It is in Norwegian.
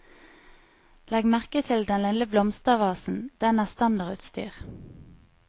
Legg merke til den lille blomstervasen, den er standardutstyr.